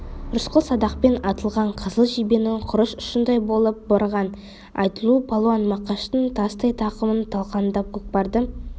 рысқұл садақпен атылған қызыл жебенің құрыш ұшындай болып барған айтулы палуан мақаштың тастай тақымын талқандап көкпарды